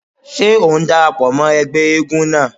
Ṣé ò ń dara pọ̀ mọ́ ẹgbẹ́ eégún náà?